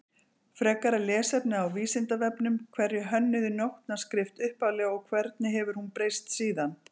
Frekara lesefni á Vísindavefnum Hverjir hönnuðu nótnaskrift upphaflega og hvernig hefur hún breyst síðan?